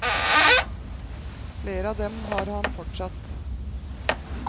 Flere av dem har han fortsatt.